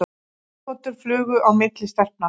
Augnagotur flugu á milli stelpnanna.